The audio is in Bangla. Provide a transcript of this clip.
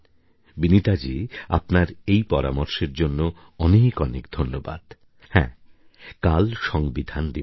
বিনীতাজী আপনার এই পরামর্শের জন্যে অনেক অনেক ধন্যবাদ হ্যাঁ কাল সংবিধান দিবস